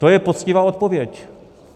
To je poctivá odpověď.